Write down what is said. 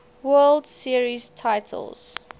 world series titles